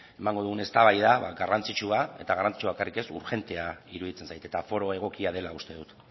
emango dugun eztabaida garrantzitsua eta garrantzitsua bakarrik ez urgentea iruditzen zait eta foro egokia dela uste dut